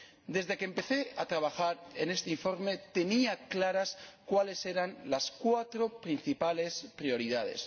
Desde que empecé a trabajar en este informe tenía claras cuáles eran las cuatro principales prioridades.